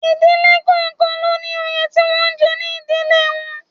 Ìdílé kọ̀ọ̀kan ló ní òye tí wọ́n ń jẹ ní ìdílé wọn